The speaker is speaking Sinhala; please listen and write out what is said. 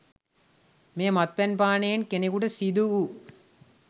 මෙය, මත්පැන් පානයෙන් කෙනකුට සිදු වූ